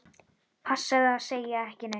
Passaðu að segja ekki neitt.